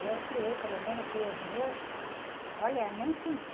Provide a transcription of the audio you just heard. Eu criei, pelo menos, criei os meus, olha, nem senti.